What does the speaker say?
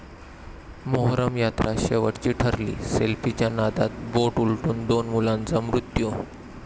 मोहरम यात्रा शेवटची ठरली, सेल्फीच्या नादात बोट उलटून दोन मुलांचा मृत्यू